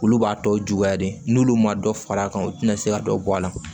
Olu b'a tɔ juguya de n'olu ma dɔ far'a kan u tɛna se ka dɔ bɔ a la